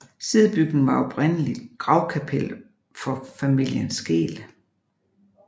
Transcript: Sidebygningen var oprindeligt gravkapel for familien Skeel